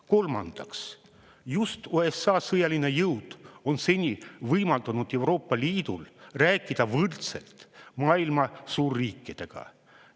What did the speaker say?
Kolmandaks, just USA sõjaline jõud on seni võimaldanud Euroopa Liidul rääkida võrdselt maailma suurriikidega.